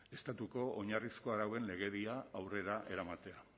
estatuko oinarrizko arauen legedia aurrera eramatea